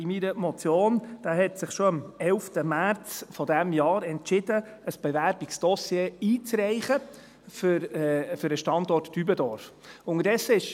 Der Kanton Zürich hat sich schon am 11. März dieses Jahres entschieden, ein Bewerbungsdossier für den Standort Dübendorf einzureichen.